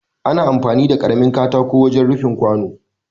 Ana amfani da karamin katako wajen rufin kwano